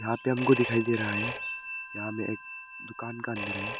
यहां पे हमको दिखाई दे रहा है यहा में एक दुकान का अंदर है।